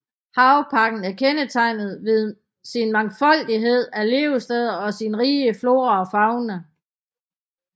Havparken er kendetegnet ved sin mangfoldighed af levesteder og sin rige flora og fauna